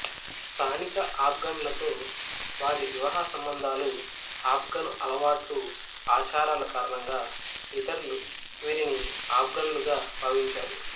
స్థానిక ఆఫ్ఘన్లతో వారి వివాహసంబంధాలు ఆఫ్ఘను అలవాట్లు ఆచారాల కారణంగా ఇతరులు వీరిని ఆఫ్ఘన్లుగా భావించారు